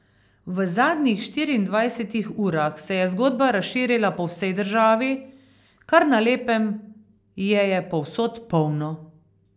V zadnjih štiriindvajsetih urah se je zgodba razširila po vsej državi, kar na lepem je je povsod polno.